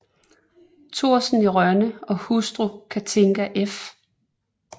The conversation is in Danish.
Thorsen i Rønne og hustru Cathinka f